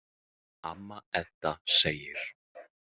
Amma Edda segir.